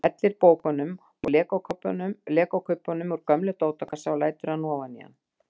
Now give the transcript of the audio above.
Hann hellir bókum og legokubbum úr gömlum dótakassa og lætur hana ofan í hann.